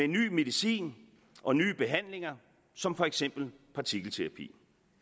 ny medicin og nye behandlinger som for eksempel partikelterapi